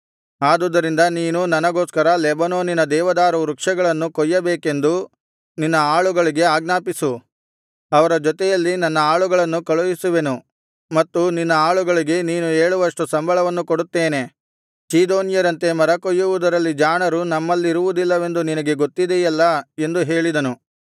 ಆದುದರಿಂದ ನೀನು ನನಗೋಸ್ಕರ ಲೆಬನೋನಿನ ದೇವದಾರು ವೃಕ್ಷಗಳನ್ನು ಕೊಯ್ಯಬೇಕೆಂದು ನಿನ್ನ ಆಳುಗಳಿಗೆ ಆಜ್ಞಾಪಿಸು ಅವರ ಜೊತೆಯಲ್ಲಿ ನನ್ನ ಆಳುಗಳನ್ನೂ ಕಳುಹಿಸುವೆನು ಮತ್ತು ನಿನ್ನ ಆಳುಗಳಿಗೆ ನೀನು ಹೇಳುವಷ್ಟು ಸಂಬಳವನ್ನು ಕೊಡುತ್ತೇನೆ ಚೀದೋನ್ಯರಂತೆ ಮರಕೊಯ್ಯುವುದರಲ್ಲಿ ಜಾಣರು ನಮ್ಮಲ್ಲಿರುವುದಿಲ್ಲವೆಂದು ನಿನಗೆ ಗೊತ್ತಿದೆಯಲ್ಲಾ ಎಂದು ಹೇಳಿದನು